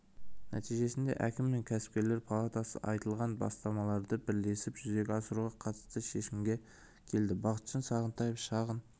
нәтижесінде әкім мен кәсіпкерлер палатасы айтылған бастамаларды бірлесіп жүзеге асыруға қатысты шешімге келді бақытжан сағынтаев шағын